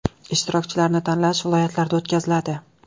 Ishtirokchilarni tanlash viloyatlarda o‘tkaziladi.